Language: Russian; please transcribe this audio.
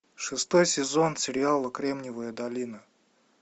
шестой сезон сериала кремниевая долина